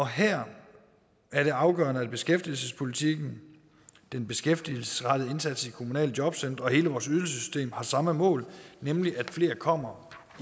her er det afgørende at beskæftigelsespolitikken den beskæftigelsesrettede indsats i kommunale jobcentre og hele vores ydelsessystem har samme mål nemlig at flere kommer